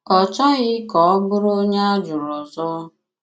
Ọ chọghị kà ọ bụrụ ònye á jụrụ ọzọ.